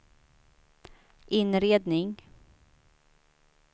inredning